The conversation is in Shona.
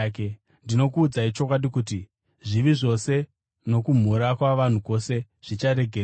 Ndinokuudzai chokwadi kuti zvivi zvose nokumhura kwavanhu kwose zvicharegererwa.